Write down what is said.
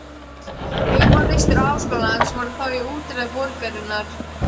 Heimavistir háskólans voru þá í útjaðri borgarinnar.